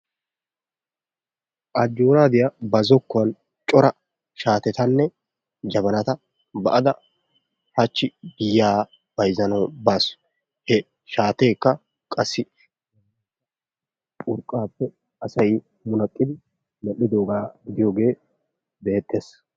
Ajjooradiya ba zokkuwan cora shaatetanne jabbanata ba"ada hachchi giya bayzzanawu baasu. He shaateekka qassi urqqaappe asay munaqqidi medhdhiddoogaa gidiyogee beettees.